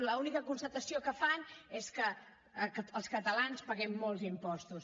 l’única constatació que fan és que els catalans paguem molts impostos